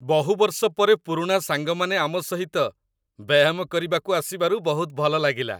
ବହୁ ବର୍ଷ ପରେ ପୁରୁଣା ସାଙ୍ଗମାନେ ଆମ ସହିତ ବ୍ୟାୟାମ କରିବାକୁ ଆସିବାରୁ ବହୁତ ଭଲ ଲାଗିଲା।